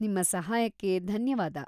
ನಿಮ್ಮ ಸಹಾಯಕ್ಕೆ ಧನ್ಯವಾದ.